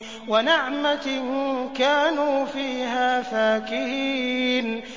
وَنَعْمَةٍ كَانُوا فِيهَا فَاكِهِينَ